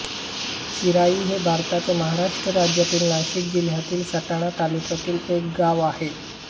चिराई हे भारताच्या महाराष्ट्र राज्यातील नाशिक जिल्ह्यातील सटाणा तालुक्यातील एक गाव आहे